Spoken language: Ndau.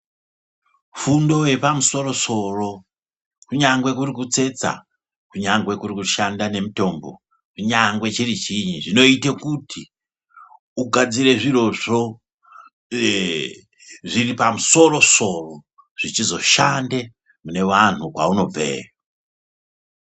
Fundo yepamsoro soro, kunyangwe kuri kutsetsa, kunyangwe kurikushanda nemitombo, kunyangwe chiri chinyi, zvinoyite kuti ugadzire zvirozvo, uye zviripamsoro soro, zvichizoshande munewanhu kwawunobve.